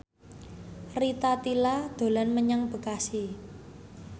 Rita Tila dolan menyang Bekasi